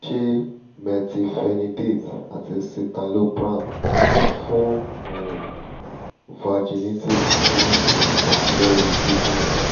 ṣe methylphenidate ati citalopram fun um vaginitis ni ipa lori kidinrin?